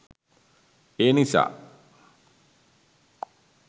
ඒ නිසා